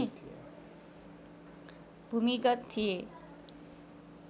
भूमिगत थिए